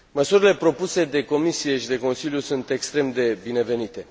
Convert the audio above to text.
Măsurile propuse de Comisie și de Consiliu sunt extrem de binevenite.